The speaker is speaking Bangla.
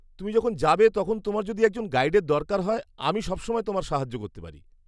তুমি যখন যাবে তখন তোমার যদি একজন গাইডের দরকার হয়, আমি সবসময় তোমায় সাহায্য করতে পারি।